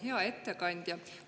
Hea ettekandja!